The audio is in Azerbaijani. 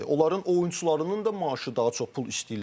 Onların oyunçularının da maaşı daha çox pul istəyirlər.